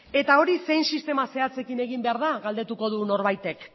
eta hori zein sistema zehatzekin egin behar da galdetuko du norbaitek